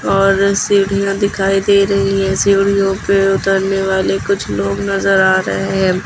और सीढ़ियां दिखाई दे रही हैं सीढियों पे उतरने वाले कुछ लोग नजर आ रहे हैं।